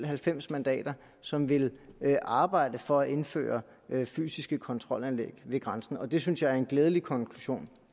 halvfems mandater som vil arbejde for at indføre fysiske kontrolanlæg ved grænsen og det synes jeg er en glædelig konklusion